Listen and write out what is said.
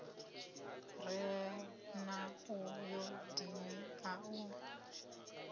re na ayodini a u